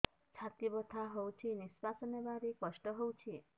ଛାତି ବଥା ହଉଚି ନିଶ୍ୱାସ ନେବାରେ କଷ୍ଟ ହଉଚି